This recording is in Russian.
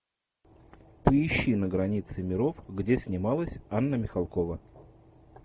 поищи на границе миров где снималась анна михалкова